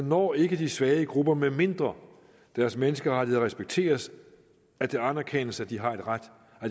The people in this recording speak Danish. når ikke de svage grupper medmindre deres menneskerettigheder respekteres og at det anerkendes at de har ret